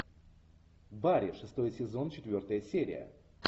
барри шестой сезон четвертая серия